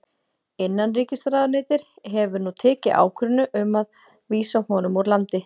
Innanríkisráðuneytið hefur nú tekið ákvörðun um að vísa honum úr landi.